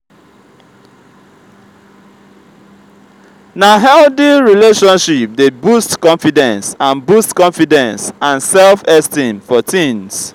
na healthy relationship dey boost confidence and boost confidence and self-esteem for teens.